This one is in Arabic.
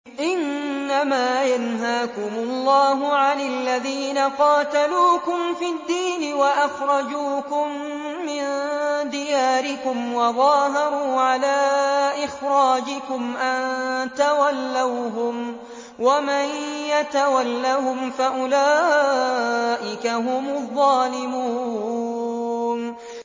إِنَّمَا يَنْهَاكُمُ اللَّهُ عَنِ الَّذِينَ قَاتَلُوكُمْ فِي الدِّينِ وَأَخْرَجُوكُم مِّن دِيَارِكُمْ وَظَاهَرُوا عَلَىٰ إِخْرَاجِكُمْ أَن تَوَلَّوْهُمْ ۚ وَمَن يَتَوَلَّهُمْ فَأُولَٰئِكَ هُمُ الظَّالِمُونَ